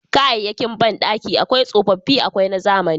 Kayayyakin bandaki akwai tsofaffi akwai na zamani.